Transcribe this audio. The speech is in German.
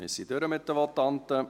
Wir sind durch mit den Votanten.